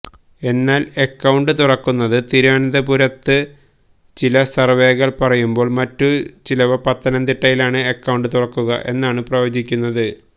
എന്നാൽ അക്കൌണ്ട് തുറക്കുന്നത് തിരുവനന്തപുരത്തെന്ന് ചില സർവേകൾ പറയുമ്പോൾ മറ്റു ചിലവ പത്തനംതിട്ടയിലാണ് അക്കൌണ്ട് തുറക്കുക എന്നാണ് പ്രവചിക്കുന്നത്